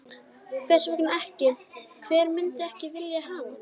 Hvers vegna ekki, hver myndi ekki vilja hafa hann?